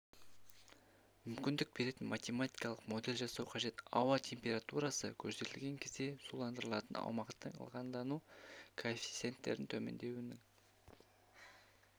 мүмкіндік беретін математикалық модель жасау қажет ауа температурасы көтерілген кезде суландырылатын аумақтың ылғалдану коэффициенттерінің төмендеуінің